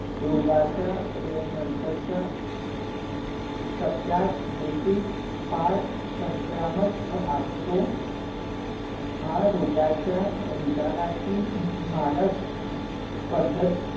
रोगाचा नंतरचा टप्यात देखील फार संक्रामक असतो, हा रोगाचा निदानाची मानक पद्धत